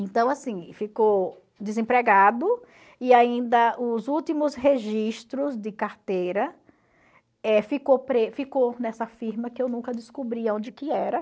Então, assim, ficou desempregado e ainda os últimos registros de carteira eh ficou ficou nessa firma que eu nunca descobri aonde que era.